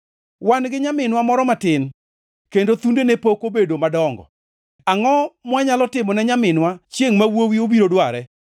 Wan gi nyaminwa moro matin, kendo thundene pok obedo madongo. Angʼo mwanyalo timone nyaminwa chiengʼ ma wuowi obiro dware?